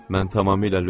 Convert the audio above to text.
Mən tamamilə lütəm.